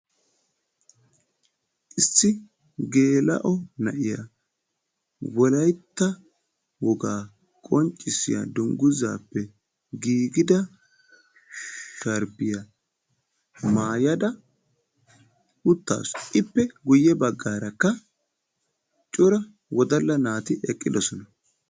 issi geela'o na'iya wolaytta wogaa qonccissiya dunguzaa sharbbiya maayada uyaasu, ippe guye bagaara wodalla naati eqqidosona.